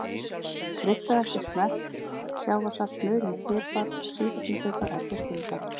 Kryddaðu eftir smekk, sjávarsalt, mulinn pipar og sítrónu pipar er þó skylda.